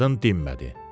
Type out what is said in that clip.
Qadın dinmədi.